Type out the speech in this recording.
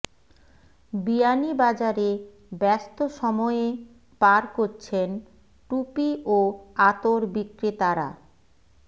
বিয়ানীবাজারে ব্যস্ত সময়ে পার করছেন টুপি ও আতর বিক্রেতারা